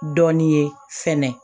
Dɔɔnin ye fɛnɛ